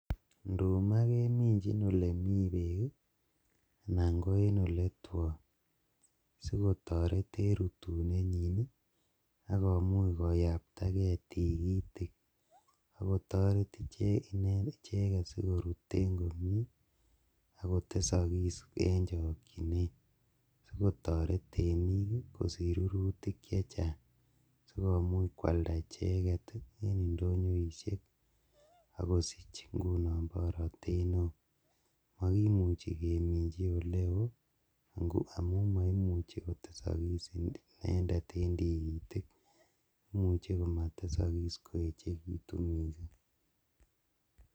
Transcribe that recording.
Nduma keminjin elemii beek anan ko en eletwon asikotoret en rutunenyin akomuch koyaptakee tikitik akotoret icheket sikorut komnyee akotelelokis en chokyinet sikotoret temiik kosich rurutik chechang sikomuuch kwalda icheket en indonyoishek akosich ing'unon borotet newoo, mokimuchi keminchi elewuii amuun moimuchi kotesogis inendet en tikitik, imuche komotesokis koechekitun mising.